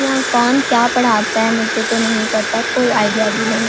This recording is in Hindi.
यहाँ कौन क्या पढ़ाता है मुझे तो नही पता कोई आईडिया भी नही--